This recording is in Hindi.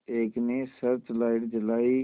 एक ने सर्च लाइट जलाई